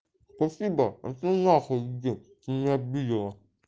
спасибо а теперь на хуй иди ты меня обидела